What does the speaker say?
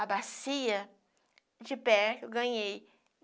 A bacia de pé que eu ganhei.